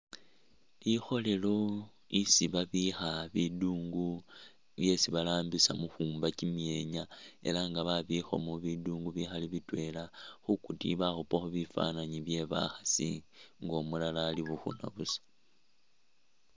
Likholelo lyesi babikha bindungu byesi barambisa mukhumba kyimyenya elah nga babikhamo bindungu bikhaali bitwela, khukutiyi bakhupakho bifananyi byebakhasi nga umulala ali bukhuna busa